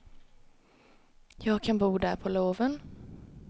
Jag kan bo där på loven.